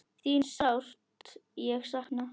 Þín sárt ég sakna.